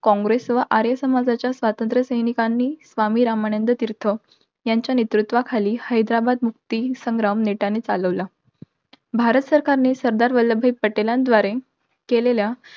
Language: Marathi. काँग्रेस व आर्य सामाजाच्या स्वातंत्र्यसैनिकांनी, स्वामी रामानंद्तीर्थ यांच्या नेतृत्वाखाली हैद्राबाद मुक्ती संग्राम नेटाने चालवला. भारत सरकारने सरदार वल्लभभाई पटेलांद्वारे, केलेल्या